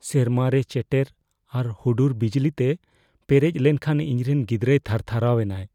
ᱥᱮᱨᱢᱟᱨᱮ ᱪᱮᱴᱮᱨ ᱟᱨ ᱦᱩᱰᱩᱨ ᱵᱤᱡᱽᱞᱤᱛᱮ ᱯᱮᱨᱮᱡ ᱞᱮᱱᱠᱷᱟᱱ ᱤᱧᱨᱮᱱ ᱜᱤᱫᱽᱨᱟᱹᱭ ᱛᱷᱟᱨᱛᱷᱟᱨᱟᱣ ᱮᱱᱟᱭ ᱾